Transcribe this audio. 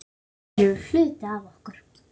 Þeir eru hluti af okkur.